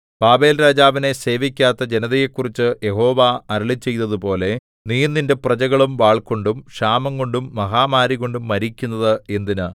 ബാബേൽരാജാവിനെ സേവിക്കാത്ത ജനതയെക്കുറിച്ച് യഹോവ അരുളിച്ചെയ്തതുപോലെ നീയും നിന്റെ പ്രജകളും വാൾകൊണ്ടും ക്ഷാമംകൊണ്ടും മഹാമാരികൊണ്ടും മരിക്കുന്നത് എന്തിന്